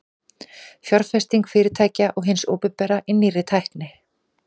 fjárfesting fyrirtækja og hins opinbera í nýrri tækni